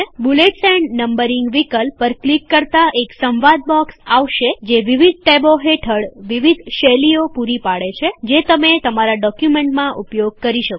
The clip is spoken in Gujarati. બૂલેટ્સ એન્ડ નમ્બરીંગ વિકલ્પ પર ક્લિક કરતાં એક સંવાદ બોક્સ આવશે જે વિવિધ ટેબો હેઠળ વિવિધ શૈલીઓ પૂરી પાડે છે જે તમે તમારા ડોક્યુમેન્ટમાં ઉપયોગ કરી શકો